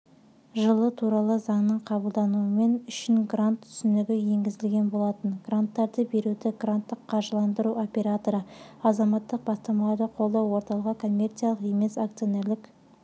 жылы туралы заңның қабылдануымен үшін грант түсінігі енгізілген болатын гранттарды беруді гранттық қаржыландыру операторы азаматтық бастамаларды қолдау орталығы коммерциялық емес акционерлік